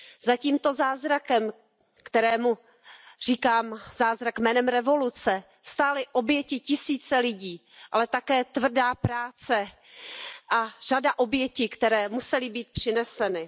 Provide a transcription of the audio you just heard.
Za tímto zázrakem, kterému říkám zázrak jménem revoluce, stály oběti tisíce lidí, ale také tvrdá práce a řada obětí, které musely být přineseny.